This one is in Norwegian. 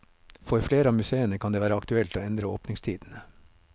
For flere av museene kan det være aktuelt å endre åpningstidene.